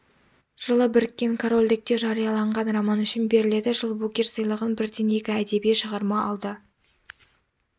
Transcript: жылы біріккен корольдікте жарияланған роман үшін беріледі жылы букер сыйлығын бірден екі әдеби шығарма алды